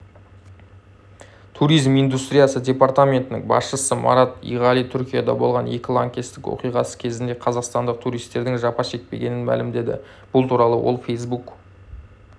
туризм индустриясы департаментінің басшысы марат иғали түркияда болған екі лаңкестік оқиғасы кезінде қазақстандық туристердің жапа шекпегенін мәлімдеді бұл туралы ол фейсбук